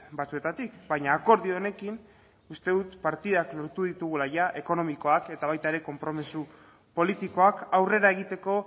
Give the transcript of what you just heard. batzuetatik baina akordio honekin uste dut partidak lortu ditugula ja ekonomikoak eta baita ere konpromiso politikoak aurrera egiteko